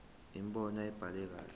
imibono ayibhaliwe kahle